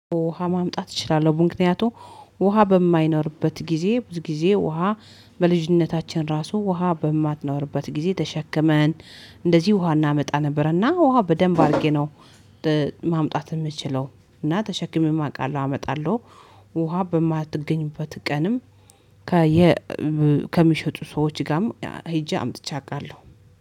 ውሃ ማምጣት እችላለሁ ብዙ ምክንያቱ ውሃ በማይኖርበት ጊዜ ብዙ ጊዜ ውሃ። በልጅነታችን ራሱ ውሃ በማትኖርበት ጊዜ ተሸክመን እንደዚህ ውሃ እናመጣ ነበር። እና ውሃ በደንብ አድርጌ ነው ማምጣት ምችለው እና ተሸክሜም አውቃለሁ አመጣለሁ። ውሃ በማትገኝበት ቀንም ከሚሸጡ ሰዎች ጋም ሄጄ አምጥቼ አውቃለሁ